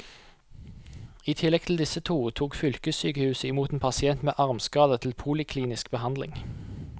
I tillegg til disse to tok fylkessykehuset i mot en pasient med armskader til poliklinisk behandling.